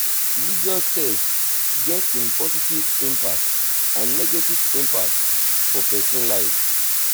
religious text get im positive impact and negative impact for persin life